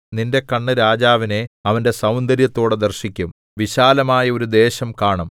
നിന്റെ കണ്ണ് രാജാവിനെ അവന്റെ സൗന്ദര്യത്തോടെ ദർശിക്കും വിശാലമായ ഒരു ദേശം കാണും